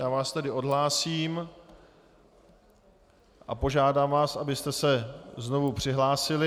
Já vás tedy odhlásím a požádám vás, abyste se znovu přihlásili.